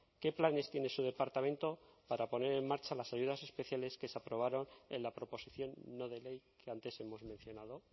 qué planes tiene su departamento para poner en marcha las ayudas especiales que se aprobaron en la proposición no de ley que antes hemos mencionado